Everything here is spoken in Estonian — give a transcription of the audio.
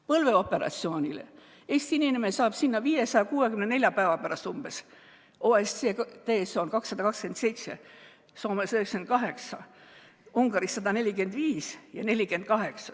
Põlveoperatsioonile saab Eesti inimene 564 päeva pärast, OECD keskmine on 227, Soomes on 98 päeva, Ungaris 145 ja 48.